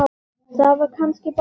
Það var kannski bara málið.